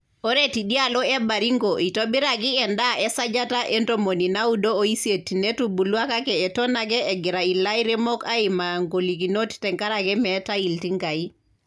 Ore teidialo e Baringo eitobiraki endaa esajata e ntomoni naudo oisiet netubulua kake eton ake egira ilairemok aimaa ng`olikinot tenkaraki meetae iltingai.